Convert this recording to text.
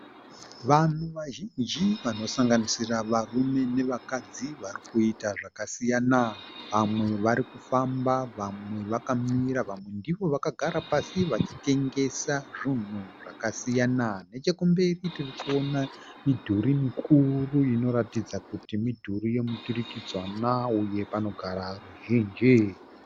Vanhu vazhinji vanosanganisira varume nevakadzi varikuita zvakasiyana. Vamwe varikufamba, vamwe vakamira, vamwe ndivo vakagara pasi vachitengesa zvunhu zvakasiyana. Nechekumberi tirikuona midhuri mikuru inoratidza kuti midhuri yemiturikidzanwa uye panogara ruzhinji.